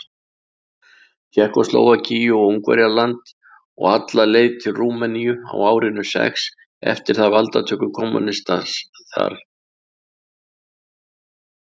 Tékkóslóvakíu og Ungverjaland og alla leið til Rúmeníu á árinu sex eftir valdatöku kommúnista þar.